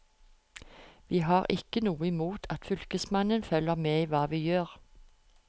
Vi har ikke noe imot at fylkesmannen følger med i hva vi gjør.